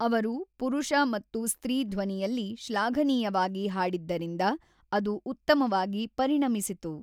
ಅವರು ಪುರುಷ ಮತ್ತು ಸ್ತ್ರೀ ಧ್ವನಿಯಲ್ಲಿ ಶ್ಲಾಘನೀಯವಾಗಿ ಹಾಡಿದ್ದರಿಂದ ಅದು ಉತ್ತಮವಾಗಿ ಪರಿಣಮಿಸಿತು.